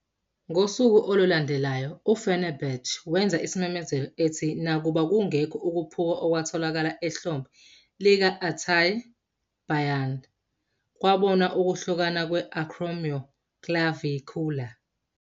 Ngosuku olulandelayo, u-Fenerbahçe wenza isimemezelo, ethi- "Nakuba kungekho ukuphuka okwatholakala ehlombe lika-Altay Bayдыр, kwabonwa ukuhlukana kwe-acromioclavicular.